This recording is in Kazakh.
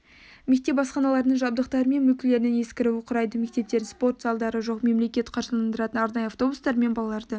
мектеп асханаларының жабдықтары мен мүлкілерінің ескіруі құрайды мектептердің спорт залдары жоқ мемлекет қаржыландыратын арнайы автобустармен балаларды